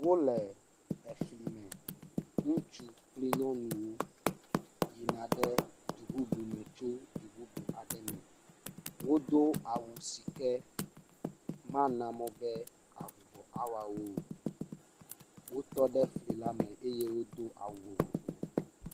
Wole efli me, ŋutsu kpli nyɔnuwo yina ɖe du bubu me tso du bubu aɖe me. Wodo awu si ke mana mɔ be avuvɔ nawa wo. Wotɔ ɖe fli la me eye wodo awu vovovo.